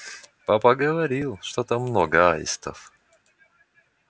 папа говорил что там много аистов